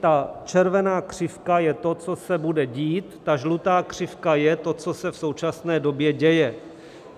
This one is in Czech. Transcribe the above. Ta červená křivka je to, co se bude dít, ta žlutá křivka je to, co se v současné době děje.